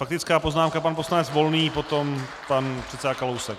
Faktická poznámka pan poslanec Volný, potom pan předseda Kalousek.